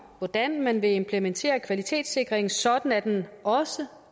hvordan man vil implementere kvalitetssikringen sådan at den også